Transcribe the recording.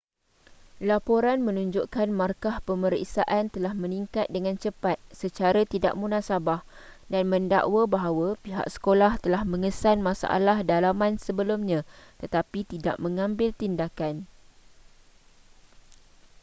laporan menunjukkan markah pemeriksaan telah meningkat dengan cepat secara tidak munasabah dan mendakwa bahawa pihak sekolah telah mengesan masalah dalaman sebelumnya tetapi tidak mengambil tindakan